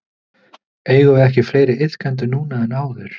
Eigum við ekki fleiri iðkendur núna en áður?